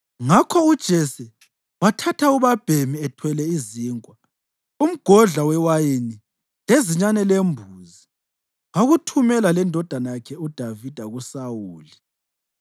Ngakho uJese wathatha ubabhemi ethwele izinkwa, umgodla wewayini lezinyane lembuzi wakuthumela lendodana yakhe uDavida kuSawuli.